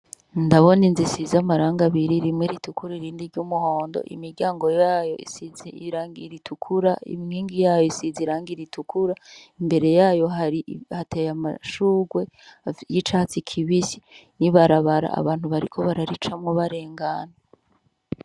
Ndabona inzu isize amarangi abiri rimwe zitukura irindi ry'umuhondo, imiryango yayo isize irangi ritukura , inkingi yayo isize irangi ritukura, imbere yayo hateye amashurwe y'icatsi kibisi , n'ibarabara abantu bariko bararicamwo barengana.